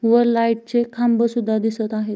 व लाइट चे खांबे सुद्धा दिसत आहे.